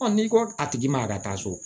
n'i ko a tigi ma yan ka taa so